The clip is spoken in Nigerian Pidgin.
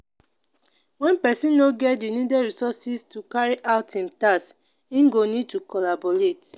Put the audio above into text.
when person no get di needed resources to carry out im task im go need to collaborate